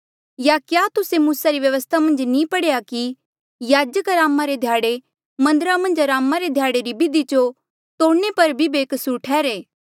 या तुस्से मूसा री व्यवस्था मन्झ नी पढ़ेया कि याजक अरामा रे ध्याड़े मन्दरा मन्झ अरामा रे ध्याड़े री बिधि जो तोड़णे पर भी बेकसूर ठैहरा ऐें